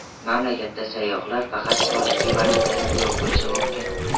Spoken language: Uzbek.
Mamlakatda sayyohlar faqat xorijiy valyutada to‘lov qilishi mumkin.